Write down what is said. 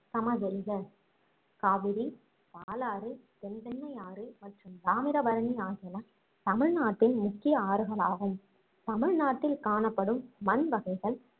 சமவெளிக~. காவிரி, பாலாறு, தென்பெண்ணை ஆறு மற்றும் தாமிரபரணி ஆகியன தமிழ்நாட்டின் முக்கிய ஆறுகளாகும் தமிழ்நாட்டில் காணப்படும் மண் வகைகள்